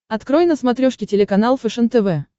открой на смотрешке телеканал фэшен тв